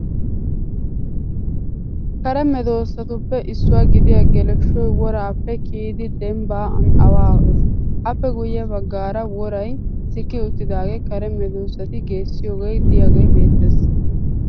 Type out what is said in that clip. Kare medoossatuppe issuwaa gidiya geleshshoy woraappe kiyidi dembban awaa ho'es. Appe guyye baggaaraworay sikki uttidaagee kare medossati geessiyogee diyagee beettes.